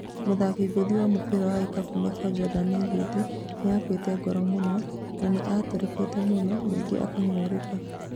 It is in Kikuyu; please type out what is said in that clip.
Mũthaki ngũthi wa mũbĩra wa ikabu Michael Jordan oigĩte "nĩakuĩte ngoro mũno na nĩaturĩkĩte mũno nĩngĩ akang'ũrĩka"